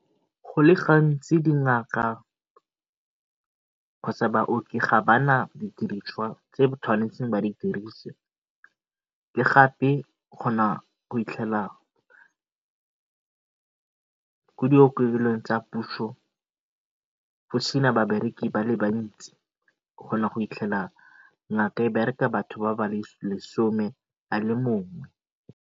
Go le gantsi dingaka kgotsa baoki ga ba na didiriswa tse ba tshwanetseng ba di dirise le gape ko diokelong tsa puso go sena babereki ba le bantsi ngaka e bereka batho ba le lesome a le mongwe.